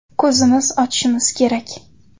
Ko‘zimizni ochishimiz kerak.